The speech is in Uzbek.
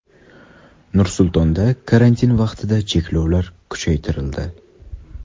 Nur-Sultonda karantin vaqtida cheklovlar kuchaytirildi.